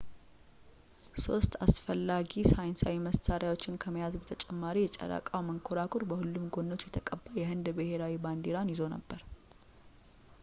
ሶስት አስፈላጊ ሳይንሳዊ መሳሪያዎችን ከመያዝ በተጨማሪ የጨረቃው መንኮራኩር በሁሉም ጎኖች የተቀባ የህንድ ብሔራዊ ባንዲራን ይዞ ነበር